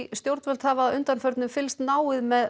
stjórnvöld hafa að undanförnu fylgst náið með